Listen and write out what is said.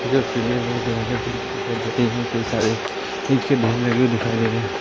कई सारे ईंट के ढेर लगे हुए दिखाई दे रहे हैं।